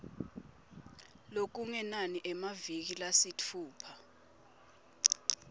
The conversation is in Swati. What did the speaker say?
lokungenani emaviki lasitfupha